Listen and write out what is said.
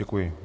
Děkuji.